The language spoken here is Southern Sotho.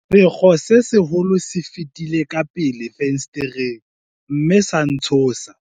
sekgo se seholo se fetile ka pele fensetereng mme sa ntshosa